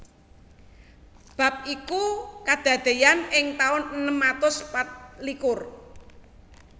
Bab iku kadadéyan ing taun enem atus patlikur